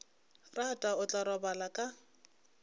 rata o tla robala ka